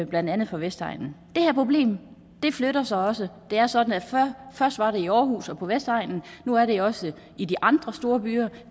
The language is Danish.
blandt andet fra vestegnen det her problem flytter sig også det er sådan at først var det i aarhus og på vestegnen nu er det også i de andre storbyer